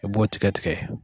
I b'o tigɛ tigɛ